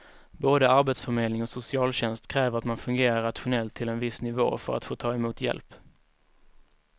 Både arbetsförmedling och socialtjänst kräver att man fungerar rationellt till en viss nivå för att få ta emot hjälp.